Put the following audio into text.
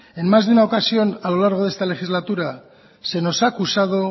es más de una ocasión a lo largo de esta legislatura se nos ha acusado